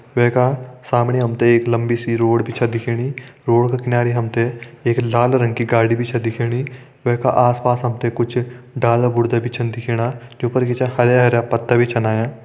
वै का समणी हम तें एक लम्बी सी रोड छन दिखेणी रोड का किनारी हम तें एक लाल रंग की गाड़ी भी छ दिखेणी वे का आस पास हम तें कुछ डाला बुर्ता छन दिखेणा जु पर की हरयाँ हरयाँ पत्ता भी छन आयां।